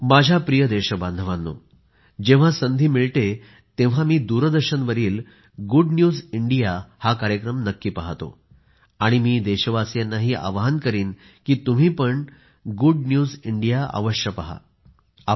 माझ्या प्रिय देशबांधवांनो जेव्हा संधी मिळते तेव्हा मी दूरदर्शनवरील गुड न्यूज इंडिया हा कार्यक्रम नक्की पाहतो आणि मी देशवासियांनाही आवाहन करीन की तुम्हीपण गुड न्यूज इंडिया पहावे